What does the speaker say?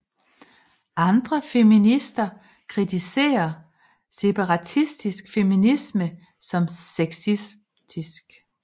Andre feminister kritiserer separatistisk feminisme som sexistisk